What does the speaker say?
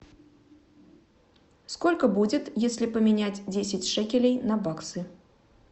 сколько будет если поменять десять шекелей на баксы